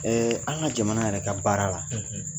An ka jamana yɛrɛ ka baara la